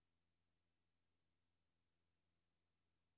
million million million